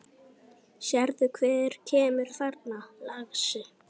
Sérðu hver kemur þarna, lagsi?